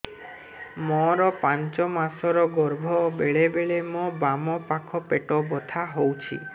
ମୋର ପାଞ୍ଚ ମାସ ର ଗର୍ଭ ବେଳେ ବେଳେ ମୋ ବାମ ପାଖ ପେଟ ବଥା ହଉଛି